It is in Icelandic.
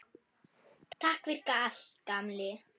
Takk fyrir allt, gamli.